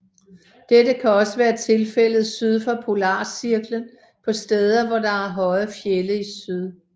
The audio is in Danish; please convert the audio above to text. Dette kan også være tilfældet syd for polarcirklen på steder hvor der er høje fjelde i syd